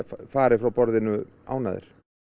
fari frá borðinu ánægðir